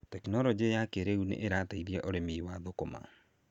Tekinoronjĩ ya kĩrĩu nĩ ĩrateithia ũrĩmi wa thũkũma.